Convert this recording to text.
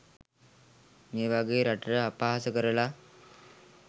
මේ වගේ රටට අපහාස කරලා